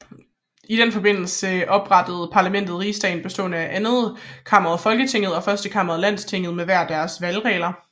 I den forbindelse oprettedes parlamentet Rigsdagen bestående af andetkammeret Folketinget og førstekammeret Landstinget med hver deres valgregler